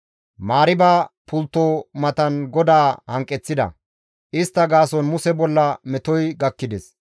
Mariiba pultto matan GODAA hanqeththida; istta gaason Muse bolla metoy gakkides.